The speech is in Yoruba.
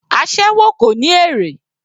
Aséwó kò ní èrè.